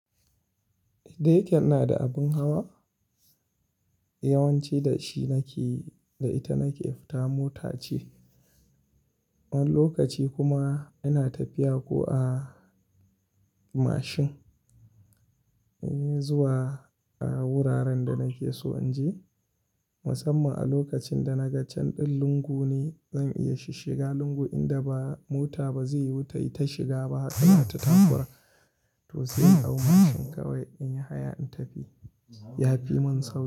Dayake ina da abin hawa, yawanci da shi nake, da ita nake fita mota ce. Wani lokaci kuma ina tafiya ko a mashin, eh, zuwa a wuraren da nake so in je. Musamman a lokacin da na ga can ɗin lungu ne zan iya shiga lungu inda ba mota ba zai yiwu ta shiga ba, tana ta takura, to sai a mashin kawai in yi haya in tafi. Yafi mun sauki.